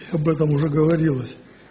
об этом уже говорилось